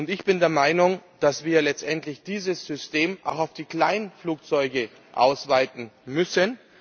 Ich bin der Meinung, dass wir letztendlich dieses System auch auf die Kleinflugzeuge ausweiten müssen.